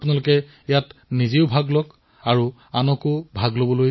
পোষণ মাহৰ সময়ছোৱাত মাই গভ পৰ্টেলত এক খাদ্য আৰু পুষ্টি কুইজো আৰম্ভ কৰা হব